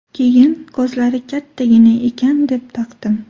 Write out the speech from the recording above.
Keyin, ko‘zlari kattagina ekan, deb taqdim.